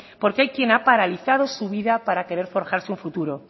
porque hay quien ha paralizado su vida para querer forjarse un futuro